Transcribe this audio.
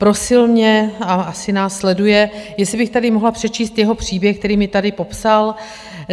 Prosil mě - a asi nás sleduje - jestli bych tady mohla přečíst jeho příběh, který mi tady popsal.